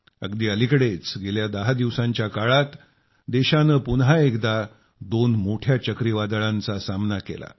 अगदी अलिकडंच गेल्या दहा दिवासांच्या काळात देशानं पुन्हा एकदा दोन मोठ्या चक्रीवादळांचा सामना केला